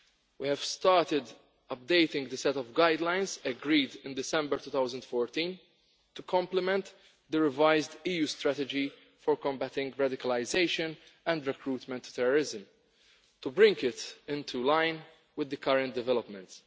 We have started updating the set of guidelines agreed in December 2014 to complement the revised EU Strategy for Combating Radicalisation and Recruitment to Terrorism to bring it into line with the current developments.